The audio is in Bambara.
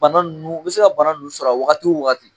Bana n nu u bɛ se ka bana nunnu sɔr'a wagati o waati.